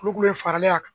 Kulukoro faralen a kan